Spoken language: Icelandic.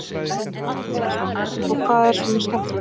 Magnús Hlynur Hreiðarsson: Og hvað var svona skemmtilegt?